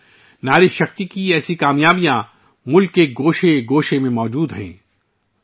ساتھیو، خواتین کی قوت کی کامیابیوں کی ایسی کہانیاں ، ملک کے کونے کونے میں موجود ہیں